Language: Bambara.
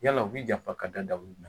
Yala u' b'i janfa ka da dalilu jumɛn kan